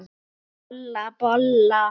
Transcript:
Bolla, bolla!